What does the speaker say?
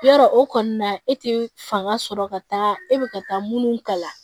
Yarɔ o kɔni na e tɛ fanga sɔrɔ ka taa e bɛ ka taa minnu kala